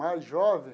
Mais jovem?